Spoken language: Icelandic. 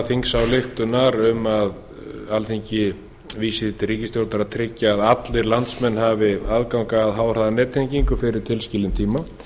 þingsályktunar um að alþingi vísi því til ríkisstjórnar að tryggja að allir landsmenn hafi aðgang að háhraðanettengingu fyrir tilskilinn tíma